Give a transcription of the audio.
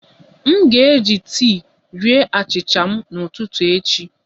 M ga-eji tii rie achịcha m n'ụtụtụ echi